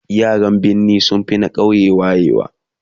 yaran birni sunfi na ƙauye wayewa